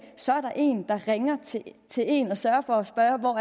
så er en der ringer til en og sørger for at spørge hvor